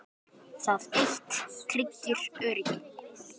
Það eitt tryggir öryggi.